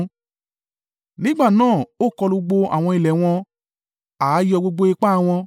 Nígbà náà, ó kọlu gbogbo àwọn ilẹ̀ wọn, ààyò gbogbo ipá wọn.